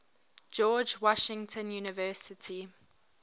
george washington university